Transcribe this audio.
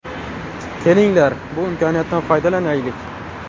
Kelinglar, bu imkoniyatdan foydalanaylik.